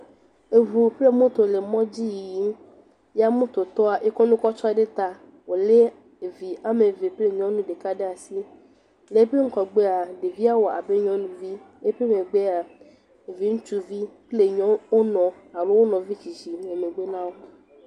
Eŋu kple moto le mɔdzi yiyim. Ya mototɔa ekɔ nu kɔ tsɔ ɖe ta wo le evi wɔme eve kple nyɔnu ɖeka ɖe asi. Le eƒe ŋgɔgbea ɖevia wɔ abe nyɔnuvi. Eƒe megbea ɖevi ŋutsuvi kple nyɔ wonɔ alo wo nɔvi tsitsi le megbe na wo.